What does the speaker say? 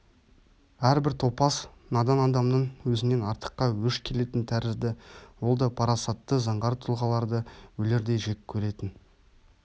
әрбір топас надан адамның өзінен артыққа өш келетін тәрізді ол да парасатты заңғар тұлғаларды өлердей жек көретін